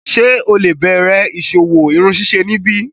Ṣe o le bẹrẹ iṣowo irunsise nibi?